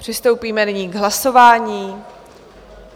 Přistoupíme nyní k hlasování.